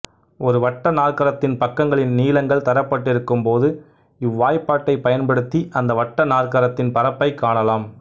ஒரு வட்ட நாற்கரத்தின் பக்கங்களின் நீளங்கள் தரப்பட்டிருக்கும் போது இவ்வாய்ப்பாட்டைப் பயன்படுத்தி அந்த வட்ட நாற்கரத்தின் பரப்பைக் காணலாம்